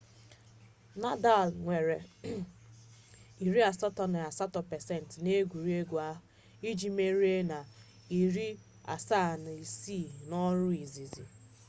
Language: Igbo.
nadal nwere 88% n'egwuregwu ahụ iji merie na 76 n'ọrụ izizi